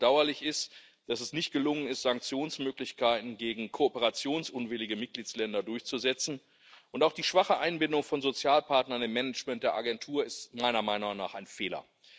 Besonders bedauerlich ist, dass es nicht gelungen ist, Sanktionsmöglichkeiten gegen kooperationsunwillige Mitgliedstaaten durchzusetzen, und auch die schwache Einbindung von Sozialpartnern im Management der Agentur ist meiner Meinung nach ein Fehler.